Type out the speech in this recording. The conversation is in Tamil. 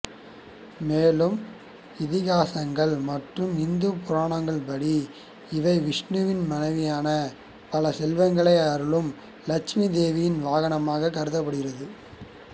மேலும் இதிகாசங்கள் மற்றும் இந்துப் புராணங்கள்படி இவை விஷ்ணுவின் மனைவியான பல செல்வங்களை அருளும் லட்சுமி தேவியின் வாகனமாகக் கருதப்படுகின்றது